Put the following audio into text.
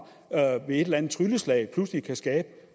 ved et eller andet trylleslag pludselig kan skabe i